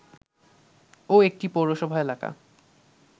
ও একটি পৌরসভা এলাকা